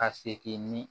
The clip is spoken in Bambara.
Ka segin ni